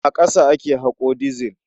A ƙasa ake haƙo dizil.